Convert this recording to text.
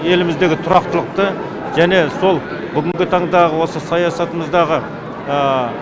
еліміздегі тұрақтылықты және сол бүгінгі таңдағы осы саясатымыздағы